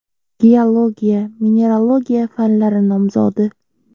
Geologiya-mineralogiya fanlari nomzodi.